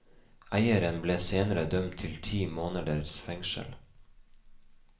Eieren ble senere dømt til ti måneders fengsel.